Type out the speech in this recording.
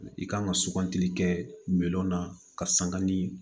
I kan ka sugantili kɛ miliyɔn na karisa ka ni